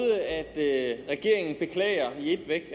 at regeringen beklager i et væk